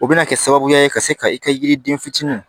O bɛna kɛ sababuya ye ka se ka i ka yiriden fitinin